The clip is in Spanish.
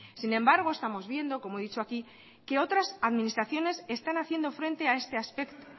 sin embargo estamos viendo como he dicho aquí que otras administraciones están haciendo frente a este aspecto